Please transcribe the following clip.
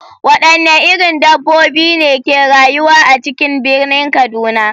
Wadanne irin dabbobi ne ke rayuwa a cikin birnin kaduna?